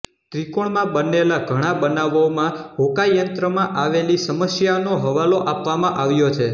ત્રિકોણમાં બનેલા ઘણા બનાવોમાં હોકાયંત્ર માં આવેલી સમસ્યાનો હવાલો આપવામાં આવ્યો છે